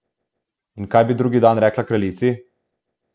In kaj bi drugi dan rekla kraljici?